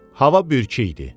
Hava bürkülü idi.